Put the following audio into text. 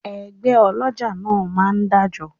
Ẹgbẹ́ ọlọ́jà máa ń dájọ